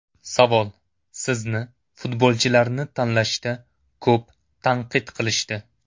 Savol: Sizni futbolchilarni tanlashda ko‘p tanqid qilishdi.